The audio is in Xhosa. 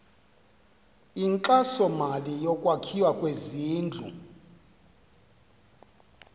inkxasomali yokwakhiwa kwezindlu